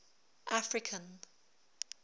african